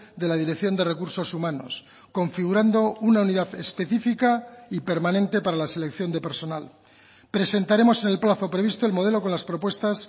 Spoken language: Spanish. de la dirección de recursos humanos configurando una unidad específica y permanente para la selección de personal presentaremos en el plazo previsto el modelo con las propuestas